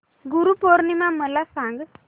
गुरु पौर्णिमा मला सांग